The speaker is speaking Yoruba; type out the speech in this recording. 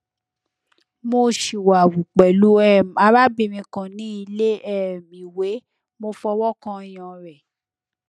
mo siwawu pelu um arabirin kan ni ile um iwe mo fowokan oyan re